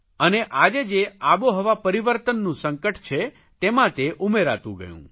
અને આજે જે આબોહવા પરિવર્તનનું સંકટ છે તેમાં તે ઉમેરાતું ગયું